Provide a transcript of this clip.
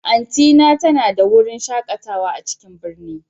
Aunty ta na da wurin shakatawa a cikin birni.